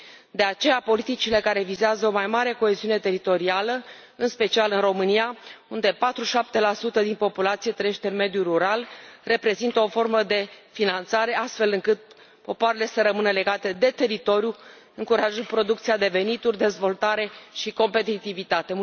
De aceea politicile care vizează o mai mare coeziune teritorială, în special în România, unde 47 din populație trăiește în mediul rural, reprezintă o formă de finanțare, astfel încât popoarele să rămână legate de teritoriu, încurajând producția de venituri, dezvoltare și competitivitate.